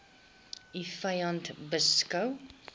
u vyand beskou